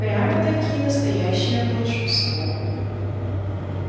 прямо-таки настоящее волшебство